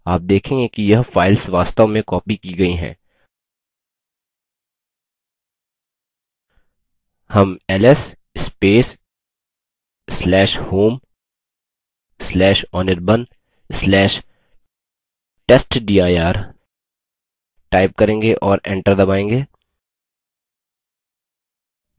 आप देखेंगे कि यह files वास्तव में copied की गई हैं हम ls/home/anirban/testdir type करेंगे और enter दबायेंगे